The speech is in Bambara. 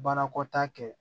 Baarakɔ ta kɛ